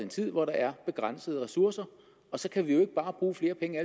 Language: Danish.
tid hvor der er begrænsede ressourcer og så kan vi jo ikke bare bruge flere penge